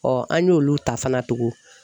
an y'olu ta fana tugun.